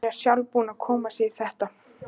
Hún er sjálf búin að koma sér í þetta.